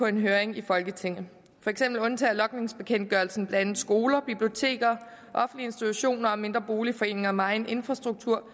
en høring i folketinget for eksempel undtager logningsbekendtgørelsen blandt andet skoler biblioteker offentlige institutioner mindre boligforeninger og megen infrastruktur